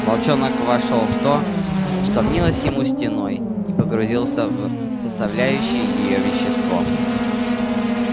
волчонок вошёл в то что мнилось ему стеной и погрузился в составляющее её вещество